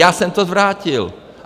Já jsem to zvrátil.